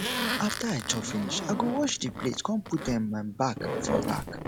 after i chop finish i go wash di plate con put um am um back for rack